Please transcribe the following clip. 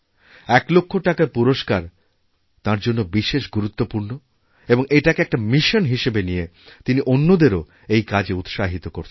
এক লক্ষ টাকার পুরস্কার তাঁর জন্য বিশেষ গুরুত্বপূর্ণ এবং এটাকে একটা মিশনহিসাবে নিয়ে তিনি অন্যদেরও এই কাজে উৎসাহিত করছেন